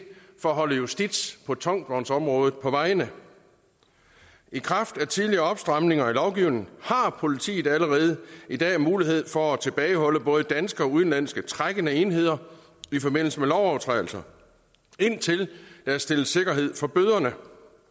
for at holde justits på tungvognsområdet på vejene i kraft af tidligere opstramninger i lovgivningen har politiet allerede i dag mulighed for at tilbageholde både danske og udenlandske trækkende enheder i forbindelse med lovovertrædelser indtil der er stillet sikkerhed for bøderne